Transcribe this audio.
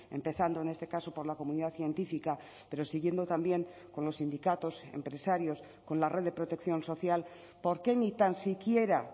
empezando en este caso por la comunidad científica pero siguiendo también con los sindicatos empresarios con la red de protección social por qué ni tan siquiera